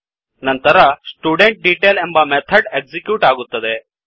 ನಂತರ ಸ್ಟುಡೆಂಟ್ಡೆಟೈಲ್ ಎಂಬ method execute ಆಗುತ್ತದೆ